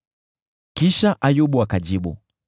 Kisha Ayubu akajibu: